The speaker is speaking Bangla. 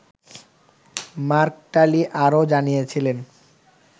মার্ক টালি আরও জানিয়েছিলেন